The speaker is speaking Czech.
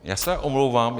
Já se omlouvám.